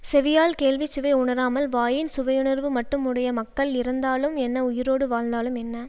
செவியால் கேள்விச் சுவை உணராமல் வாயின் சுவையுணர்வு மட்டும் உடைய மக்கள் இறந்தாலும் என்ன உயிரோடு வாழ்ந்தாலும் என்ன